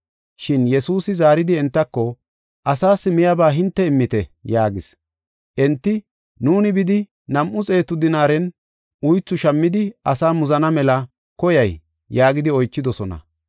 Shin Yesuusi zaaridi entako, “Asaas miyaba hinte immite” yaagis. Enti, “Nuuni bidi nam7u xeetu dinaaren uythu shammidi asaa muzana mela koyay?” yaagidi oychidosona.